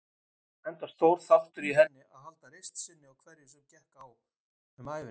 Enda stór þáttur í henni að halda reisn sinni á hverju sem gekk um ævina.